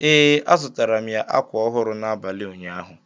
ee, azụtara m ya ákwà ọhụrụ n’abalị ụnyaahụ